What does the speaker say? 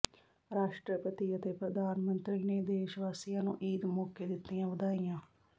ਰਾਸ਼ਟਰਪਤੀ ਅਤੇ ਪ੍ਰਧਾਨ ਮੰਤਰੀ ਨੇ ਦੇਸ਼ ਵਾਸੀਆਂ ਨੂੰ ਈਦ ਮੌਕੇ ਦਿੱਤੀਆਂ ਵਧਾਈਆਂ